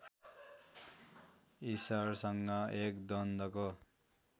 इस्सरसँग एक द्वन्द्वको